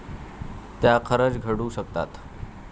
त्या खरंच घडू शकतात.